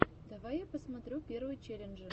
давай я посмотрю первые челленджи